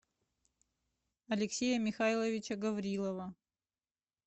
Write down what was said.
алексея михайловича гаврилова